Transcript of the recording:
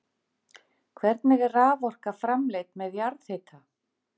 Hvernig er raforka framleidd með jarðhita?